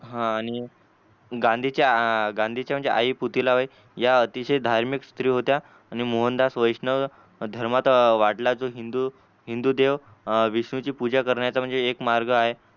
आणि गांधीच्या म्हणजे गांधीच्या आई पुतीला बाई अतिशय धार्मिक स्त्री होत्या आणि मोहनदास वैष्णव धर्मात वाटला जो हिंदू हिंदू देव विष्णूची पूजा करण्याचा एक मार्ग आहे.